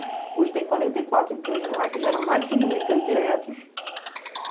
Hoje tem quarenta e quatro empresas lá que geram mais de cinco mil empregos diretos.